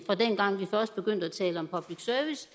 fra dengang vi først begyndte at tale om public service